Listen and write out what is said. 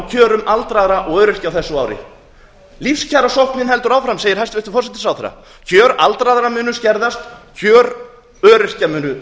kjörum aldraðra og öryrkja á þessu ári lífskjarasóknin heldur áfram segir hæstvirtur forsætisráðherra kjör aldraðra munu skerðast kjör öryrkja munu